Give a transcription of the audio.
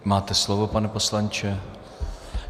Máte slovo, pane poslanče.